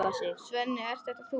Svenni, ert það þú!?